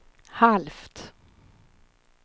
halvt